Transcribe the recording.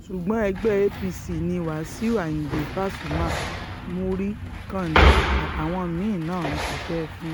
ṣùgbọ́n ẹgbẹ́ apc ni wàṣíù ayíǹde pasuma muri kanda àtàwọn mí-ín náà ń ṣiṣẹ́ fún